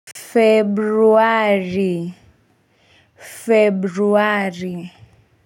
Februari februari.